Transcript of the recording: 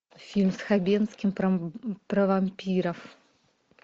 фильм с хабенским про вампиров